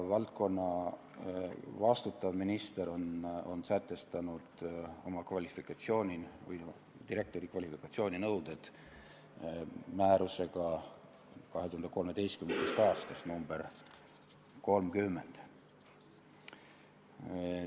Valdkonna eest vastutav minister on sätestanud direktori kvalifikatsiooninõuded oma 2013. aasta määrusega nr 30.